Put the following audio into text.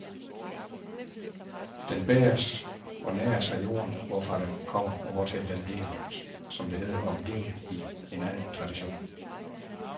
Den bæres og næres af jorden, hvorfra den kommer, og hvortil den bliver, som det hedder om livet i en anden tradition.